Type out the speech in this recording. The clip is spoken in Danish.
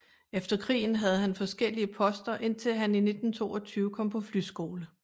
Efter krigen havde han forskellige poster indtil han i 1922 kom på flyskole